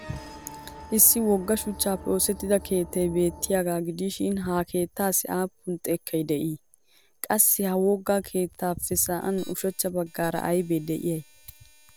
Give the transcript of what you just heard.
Issi wogga shuchchaappe oosettida keettay beettiyaagaa gidishin hakeettaassi aappun xekkay de'ii? Qassi ha wogga keettaappe sa'an ushachcha baggaara aybee de'iyay?